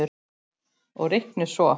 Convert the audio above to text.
Og reiknið svo.